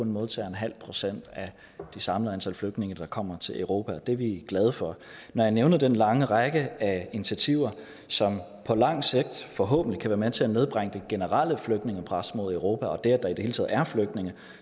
modtager en halv procent af det samlede antal flygtninge der kommer til europa og det er vi glade for når jeg nævner den lange række af initiativer som på lang sigt forhåbentlig kan være med til at nedbringe det generelle flygtningepres mod europa og det at der i det hele taget er flygtninge